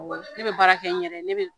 Awɔ, ne bɛ baara kɛ n yɛrɛ. Ne bɛ